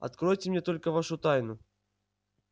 откройте мне только вашу тайну